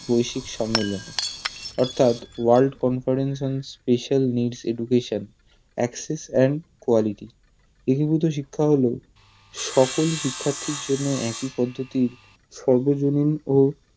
বৈশ্বিক সম্মেলন অর্থাৎ World Conference on Speical Need Education access and quality একীভূত শিক্ষা হলো সকল শিক্ষার্থীর জন্য একই পদ্ধতির ও সর্বজনীন